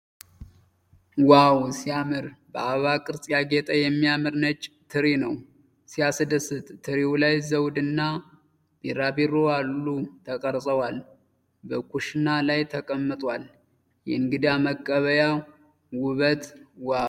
ዋው! ሲያምር! በአበባ ቅርጽ ያጌጠ የሚያምር ነጭ ትሪ ነው። ሲያስደስት! ትሪው ላይ ዘውድ እና ቢራቢሮ አሉ ተቀርጸዋል። በኩሽና ላይ ተቀምጧል። የእንግዳ መቀበያ ውበት! ዋው!!